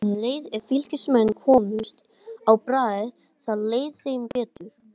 Um leið og Fylkismenn komust á bragðið þá leið þeim betur.